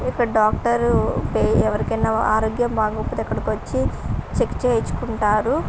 ఇక్కడ డాక్టర్ పే ఎవరికైనా ఆరోగ్యం బాగోకపోతే ఇక్కడకీ వచ్చి చెక్ చేయించుకుంటారు.